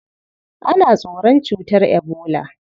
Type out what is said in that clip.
Ana tsoron cutar ebola.